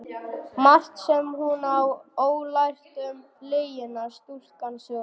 Margt sem hún á ólært um lygina, stúlkan sú.